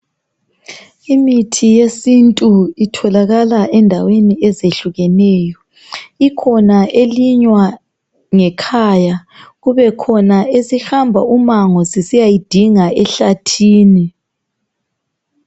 Imithi yesintu itholakala endaweni ezehlukeneyo. Ikhona elinywa ngekhaya kube khona esihamba umango sisiyayidinga ehlathini.